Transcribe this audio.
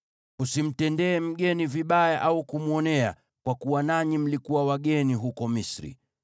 “Usimtendee mgeni vibaya au kumwonea, kwa kuwa nanyi mlikuwa wageni huko Misri.